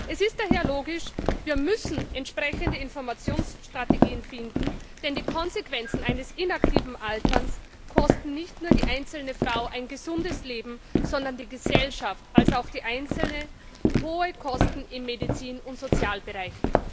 Es ist daher logisch Wir müssen entsprechende Informationsstrategien finden, denn die Konsequenzen eines inaktiven Alterns kosten nicht nur die einzelne Frau ein gesundes Leben, sondern sowohl die Gesellschaft, als auch die Einzelne hohe Kosten im Medizin und Sozialbereich.